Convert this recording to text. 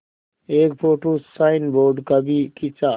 एक photo signboard का भी खींचा